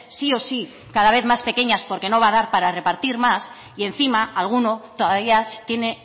sí o sí cada vez más pequeñas porque no va a dar para repartir más y encima alguno todavía tiene